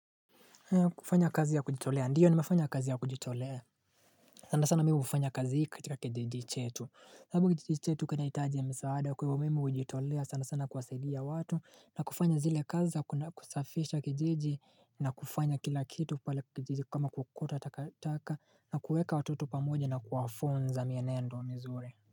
Kufanya kazi ya kujitolea ndiyo nimefanya kazi ya kujitolea sana sana mimi hufanya kazi hii katika kijiji chetu sababu kijiji chetu kinahitaji misaada kwa hivo mimi hujitolea sana sana kuwasaidia watu na kufanya zile kazi za kuna kusafisha kijiji na kufanya kila kitu pale kijijiji kama kuokota tataka na kuwaweka watoto pamoja na kuwafunza mienendo mizuri.